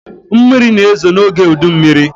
Mmiri na-ezo n’oge udummiri